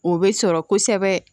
O bɛ sɔrɔ kosɛbɛ